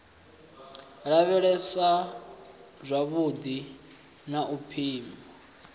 lavhelesa zwavhudi na u pima